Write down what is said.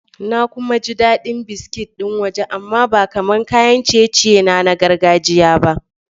Na kuma ji daɗin biskit ɗin waje amma ba kamar kayan ciye-ciye na na gargajiyata ba.